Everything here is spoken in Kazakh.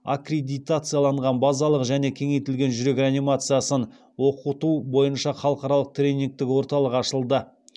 аккредитациялаған базалық және кеңейтілген жүрек реанимациясын оқыту бойынша халықаралық тренингтік орталық ашылды